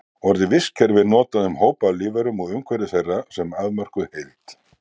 Orið vistkerfi er notað um hóp af lífverum og umhverfi þeirra sem afmörkuð heild.